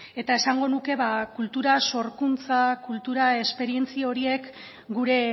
eta esango nuke kultura sorkuntza kultura esperientzia horiek gure